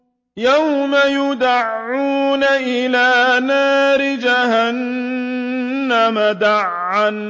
يَوْمَ يُدَعُّونَ إِلَىٰ نَارِ جَهَنَّمَ دَعًّا